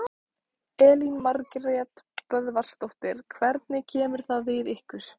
Elín Margrét Böðvarsdóttir: Hvernig kemur það við ykkur?